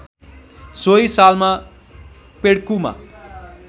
सोही सालमा पेड्कुमा